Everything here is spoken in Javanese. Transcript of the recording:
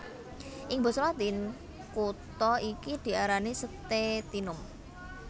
Ing basa Latin kutha iki diarani Stetinum